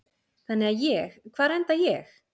Þannig að ég, hvar enda ég?